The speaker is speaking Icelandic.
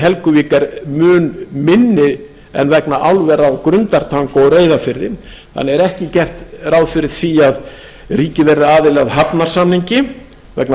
helguvík er mun minni en vegna álvera á grundartanga og reyðarfirði það er ekki gert ráð fyrir því að ríki verði aðili að hafnarsamningi vegna